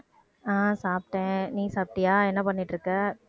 அஹ் சாப்பிட்டேன். நீ சாப்பிட்டியா என்ன பண்ணிட்டு இருக்க?